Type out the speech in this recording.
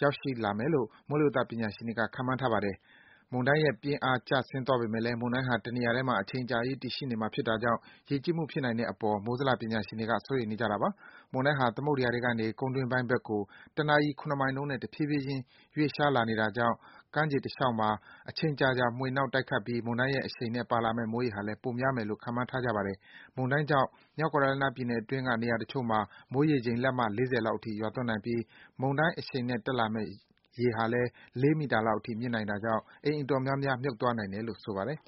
ရောက်ရှိလာမယ်လို့ မိုးလေဝသပညာရှင်တွေက ခန့်မှန်းထားပါတယ်။ မုန်တိုင်းရဲ့ ပြင်းအားကျဆင်းသွားပေမယ့်လည်း မုန်တိုင်းဟာ တနေရာထဲမှာ အချိန်အကြာကြီး တည်ရှိနေမှာ ဖြစ်တာကြောင့် ရေကြီးမှုဖြစ်နိုင်တဲ့အပေါ် မိုးဇလ ပညာရှင်တွေက စိုးရိမ်နေကြတာပါ။ မုန်းတိုင်းဟာ သမုဒ္ဒယာထဲကနေ ကုန်းတွင်းပိုင်းဘက်ကို တနာရီ (၇) မိုင်နှုန်းနဲ့ တဖြည်းဖြည်းချင်း ရွေ့လျှားနေတာကြောင့် ကမ်းခြေတလျှောက်မှာ အချိန်ကြာကြာ မွှေနှောက် တိုက်ခတ်ပြီး မုန်တိုင်းရဲ့အရှိန်နဲ့ ပါလာမယ့် မိုးရေချိန်ဟာလည်း ပိုများမယ်လို့ ခန့်မှန်းထားကြပါတယ်။ မုန်းတိုင်းကြောင့် မြောက်ကယ်ရိုလိုင်းနားပြည်နယ်အတွင်းက နေရာတချို့မှာ မိုးရေချိန် လက်မ ၄၀ လောက်အထိ ရွာသွန်းနိုင်ပြီး မုန်တိုင်းအရှိန်နဲ့ တက်လာမယ့် ရေဟာလည်း ၄ မီတာလောက်အထိ မြင့်နိုင်တာကြောင့် အိမ်အတော်များများ မြှုပ်သွားနိုင်တယ်လို့ ဆိုပါတယ်